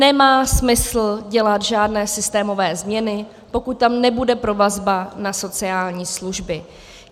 Nemá smysl dělat žádné systémové změny, pokud tam nebude provazba na sociální služby.